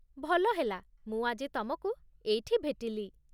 ଭଲ ହେଲା, ମୁଁ ଆଜି ତମକୁ ଏଇଠି ଭେଟିଲି